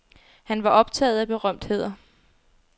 Han var optaget af berømtheder.